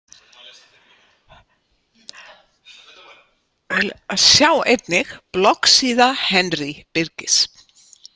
Sjá einnig: Bloggsíða Henry Birgis